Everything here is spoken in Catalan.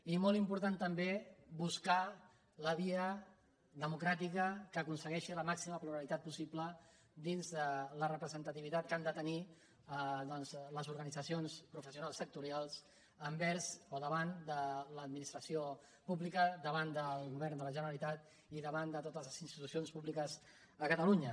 i molt important també buscar la via demo·cràtica que aconsegueixi la màxima pluralitat possi·ble dins de la representativitat que han de tenir doncs les organitzacions professionals sectorials envers o da·vant de l’administració davant del govern de la ge·neralitat i davant de totes les institucions públiques a catalunya